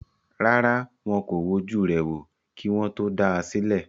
Rárá, wọn kò wojú rẹ̀ wò, kí wọ́n tó dá a sílẹ̀